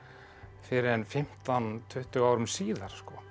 fyrr en fimmtán til tuttugu árum síðar